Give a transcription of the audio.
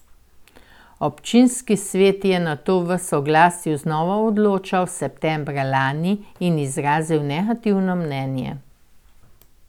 Občinski svet je nato o soglasju znova odločal septembra lani in izrazil negativno mnenje.